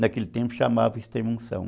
Naquele tempo chamava extrema unção.